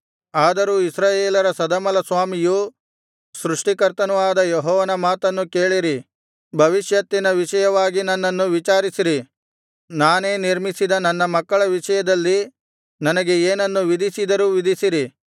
ಆದರೂ ಇಸ್ರಾಯೇಲರ ಸದಮಲಸ್ವಾಮಿಯೂ ಸೃಷ್ಟಿಕರ್ತನೂ ಆದ ಯೆಹೋವನ ಮಾತನ್ನು ಕೇಳಿರಿ ಭವಿಷ್ಯತ್ತಿನ ವಿಷಯವಾಗಿ ನನ್ನನ್ನು ವಿಚಾರಿಸಿರಿ ನಾನೇ ನಿರ್ಮಿಸಿದ ನನ್ನ ಮಕ್ಕಳ ವಿಷಯದಲ್ಲಿ ನನಗೆ ಏನನ್ನು ವಿಧಿಸಿದರೂ ವಿಧಿಸಿರಿ